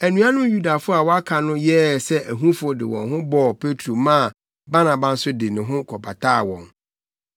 Anuanom Yudafo a wɔaka no yɛɛ sɛ ahufo de wɔn ho bɔɔ Petro maa Barnaba nso de ne ho kɔbataa wɔn.